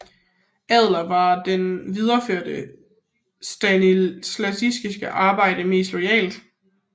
Adler var den der videreførte Stanislavskis arbejde mest loyalt